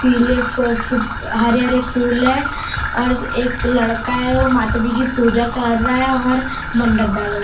पीले फ फू हरे हरे फूल है और एक लड़का है वो माताजी की पूजा कर रहा है और मंडप डाला हुआ है।